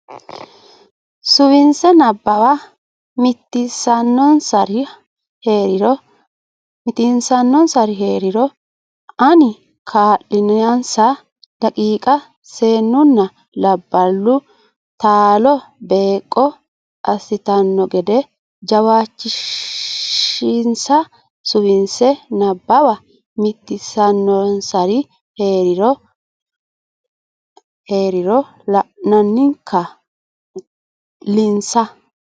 Suwise Nabbawa mitiinsannonsari hee riro la anni kaa linsa daqiiqa Seennunna labballu taalo beeqqo assitanno gede jawaachishinsa Suwise Nabbawa mitiinsannonsari hee riro la anni kaa linsa.